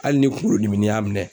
Hali ni kugolo diminin y'a minɛn.